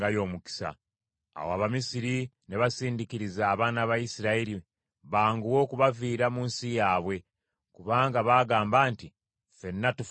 Awo Abamisiri ne basindiikiriza abaana ba Isirayiri banguwe okubaviira mu nsi yaabwe; kubanga baagamba nti, “Ffenna tufa tuggwaawo!”